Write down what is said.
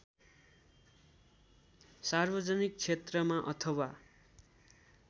सार्वजनिक क्षेत्रमा अथवा